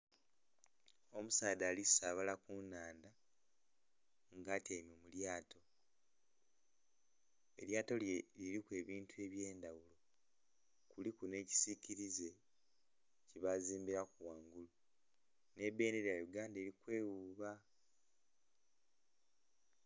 Omusaadha ali saabala ku nnhandha nga atyaime mu lyato. Elyato lye liriku ebintu eby'endaghulo kuliku n'ekisikilize kyebazimbilaku ghangulu. Nhi bendera ya Uganda, eli kwewuba.